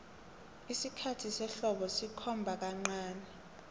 isikhathi sehlobo sikhomba kancani